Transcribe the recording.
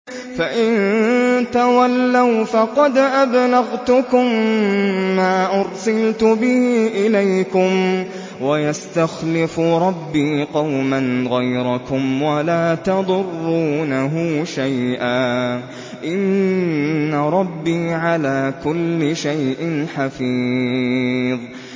فَإِن تَوَلَّوْا فَقَدْ أَبْلَغْتُكُم مَّا أُرْسِلْتُ بِهِ إِلَيْكُمْ ۚ وَيَسْتَخْلِفُ رَبِّي قَوْمًا غَيْرَكُمْ وَلَا تَضُرُّونَهُ شَيْئًا ۚ إِنَّ رَبِّي عَلَىٰ كُلِّ شَيْءٍ حَفِيظٌ